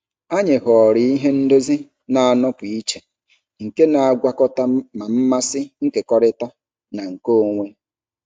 Anyị họọrọ ihe ndozi na-anọpụ iche nke na-agwakọta ma mmasị nkekọrịtara na nke onwe.